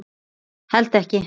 Held ekki.